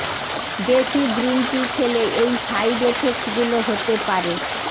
বেশি green tea খেলে এই সাইড এফেক্টগুলো হতে পারে